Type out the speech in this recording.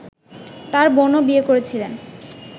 তাঁর বোনও বিয়ে করেছিলেন